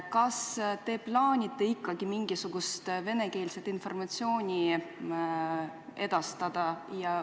Kas te plaanite ikkagi mingisugust venekeelset informatsiooni edastada?